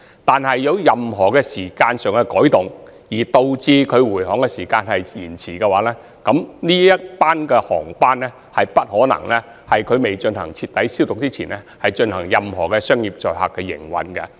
但是，如果有任何時間上的改動，導致回航時間有所延遲，航機將不可能在未進行徹底消毒前進行任何商業載客的營運。